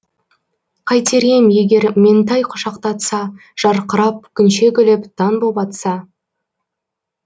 қайтер ем егер меңтай құшақтатса жарқырап күнше күліп таң боп атса